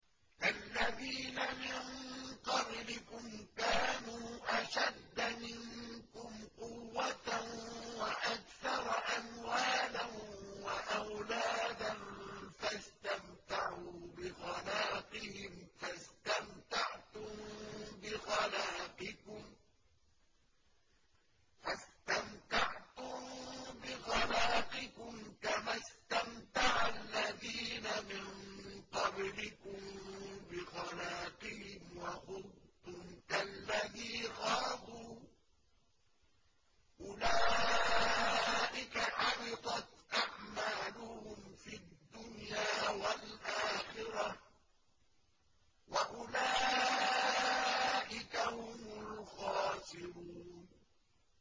كَالَّذِينَ مِن قَبْلِكُمْ كَانُوا أَشَدَّ مِنكُمْ قُوَّةً وَأَكْثَرَ أَمْوَالًا وَأَوْلَادًا فَاسْتَمْتَعُوا بِخَلَاقِهِمْ فَاسْتَمْتَعْتُم بِخَلَاقِكُمْ كَمَا اسْتَمْتَعَ الَّذِينَ مِن قَبْلِكُم بِخَلَاقِهِمْ وَخُضْتُمْ كَالَّذِي خَاضُوا ۚ أُولَٰئِكَ حَبِطَتْ أَعْمَالُهُمْ فِي الدُّنْيَا وَالْآخِرَةِ ۖ وَأُولَٰئِكَ هُمُ الْخَاسِرُونَ